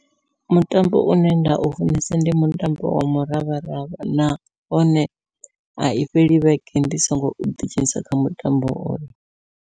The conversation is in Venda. Mutambo une nda u funesa ndi mutambo wa muravharavha, nahone ai fheli vhege ndi songo ḓi dzhenisa kha mutambo hoyo.